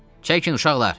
Çəkin uşaqlar!